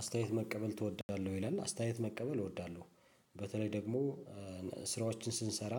አስተያየት መቀበል ትወዳለህ ወይ? ይላል አስተያየት መቀበል እወዳለሁ በተለይ ደሞ ስራዎችን ስንሰራ